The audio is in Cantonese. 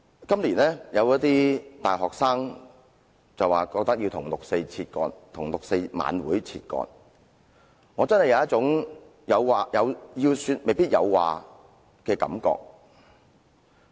今年，有一些大學生覺得要與六四晚會分割，我因而真的有一種"要說未必有話"的感覺。